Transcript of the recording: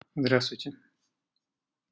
здравствуйте